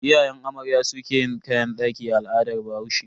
Iyayen amarya su ke yin kayan daki a al'adar bahaushe.